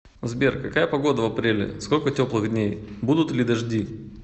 сбер какая погода в апреле сколько теплых дней будут ли дожди